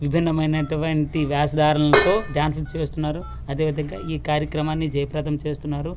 విభిన్న మైనటువంటి వేషధారణతో డాన్సులు చేస్తున్నారు అదే విధంగా ఈ కార్యక్రమాన్ని జయప్రదం చేస్తున్నారు.